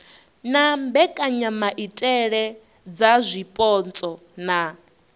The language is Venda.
na mbekanyamaitele dza zwipotso na